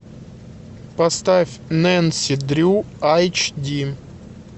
поставь нэнси дрю эйч ди